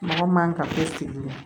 Mɔgɔ man ka foyi sigi